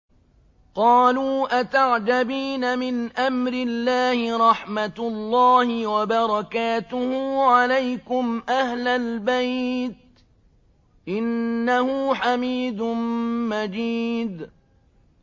قَالُوا أَتَعْجَبِينَ مِنْ أَمْرِ اللَّهِ ۖ رَحْمَتُ اللَّهِ وَبَرَكَاتُهُ عَلَيْكُمْ أَهْلَ الْبَيْتِ ۚ إِنَّهُ حَمِيدٌ مَّجِيدٌ